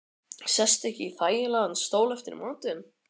Sestu ekki í þægilegan stól eftir matinn.